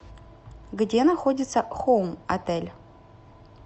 где находится хоум отель